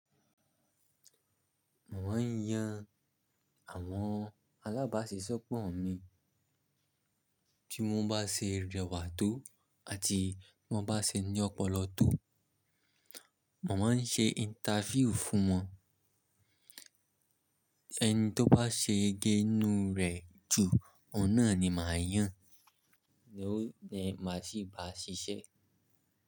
Mò maa ń yan àwọn alábáṣeṣọ́pọ̀ mi, tí mo bá ṣe rẹwà tó àti tí mo bá ṣe ní ọpọlọ tó. Mò máa ń ṣe interview fún wọn, ẹni tó bá ṣe yegé nù rẹ̀ jù, ọ̀nà ni màá yàn, ló ni màá sì bá ṣiṣẹ́